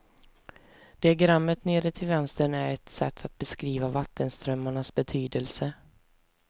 Diagrammet nere till vänster är ett sätt att beskriva vattenströmmarnas betydelse.